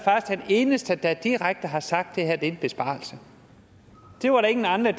den eneste der direkte har sagt det er en besparelse det var der ingen andre